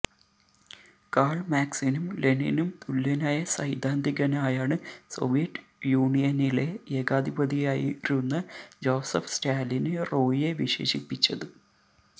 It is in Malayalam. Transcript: കാള് മാക്സിനും ലെനിനും തുല്യനായ സൈദ്ധാന്തികനായാണ് സോവിയറ്റ് യൂണിയനിലെ ഏകാധിപതിയായിരുന്ന ജോസഫ് സ്റ്റാലിന് റോയിയെ വിശേഷിപ്പിച്ചത്